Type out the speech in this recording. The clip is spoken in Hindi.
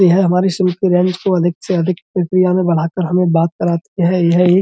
यह हमारी अधिक से अधिक प्रक्रिया में बढ़ा कर हमें बात कराती है। यह एक --